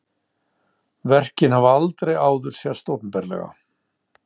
Verkin hafa aldrei áður sést opinberlega